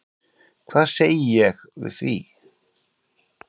Hvað segi ég við því?